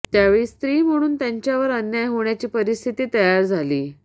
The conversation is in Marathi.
त्या वेळी स्त्री म्हणून त्यांच्यावर अन्याय होण्याची परिस्थिती तयार झाली